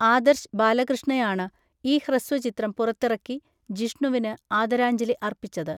ആദർശ് ബാലകൃഷ്ണയാണ് ഈ ഹ്രസ്വചിത്രം പുറത്തിറക്കി ജിഷ്ണുവിന് ആദരാഞ്ജലി അർപ്പിച്ചത്.